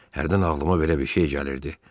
Hərdən ağlıma belə bir şey gəlirdi: